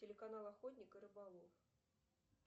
телеканал охотник и рыболов